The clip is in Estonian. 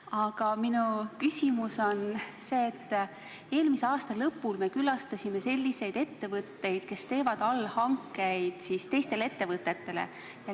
Aga minu küsimus on see, et eelmise aasta lõpul me külastasime selliseid ettevõtteid, kes teevad allhankeid teistele ettevõtetele.